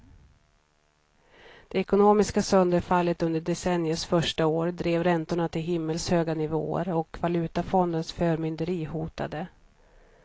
Det ekonomiska sönderfallet under decenniets första år drev räntorna till himmelshöga nivåer och valutafondens förmynderi hotade.